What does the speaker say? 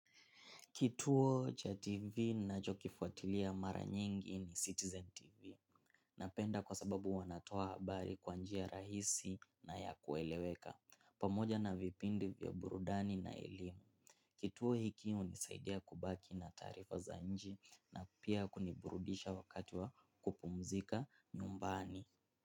Kituo cha TV ninacho kifuatilia mara nyingi ni Citizen TV. Napenda kwa sababu wanatoa habari kwanjia rahisi na ya kueleweka. Pamoja na vipindi vya burudani na elimu. Kituo hiki hunisaidia kubaki na taarifa za nchi na pia kuniburudisha wakati wa kupumzika nyumbani.